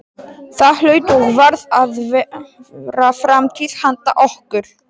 Það hlaut og varð að vera framtíð handa okkur.